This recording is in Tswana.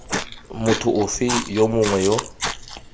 motho ofe yo mongwe yo